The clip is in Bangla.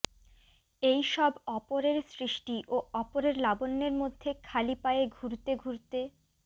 এইসব অপরের সৃষ্টি ও অপরের লাবণ্যের মধ্যে খালি পায়ে ঘুরতে ঘুরতে